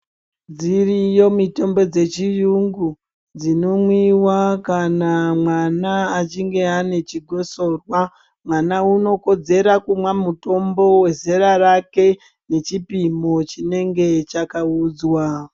Dziriyo mitombo dzechiyungu dzinomwiwa kana mwana achinge ane chikosorwa. Mwana unokodzera kumwa mutombo wezera rake nechipimo chinenge chakaudzwa.